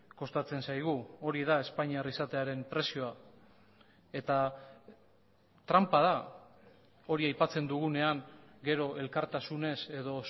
kostatzen zaigu hori da espainiar izatearen prezioa eta tranpa da hori aipatzen dugunean gero elkartasunez edo